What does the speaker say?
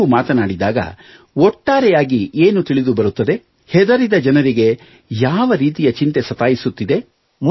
ನೀವು ಮಾತನಾಡಿದಾಗ ಒಟ್ಟಾರೆ ಏನು ತಿಳಿದು ಬರುತ್ತದೆ ಹೆದರಿದ ಜನರಿಗೆ ಯಾವ ರೀತಿಯ ಚಿಂತೆ ಸತಾಯಿಸುತ್ತದೆ